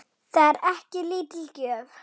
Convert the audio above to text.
Það er ekki lítil gjöf.